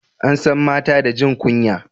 an san mata da jin kunya